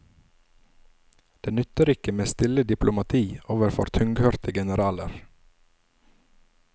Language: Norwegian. Det nytter ikke med stille diplomati overfor tunghørte generaler.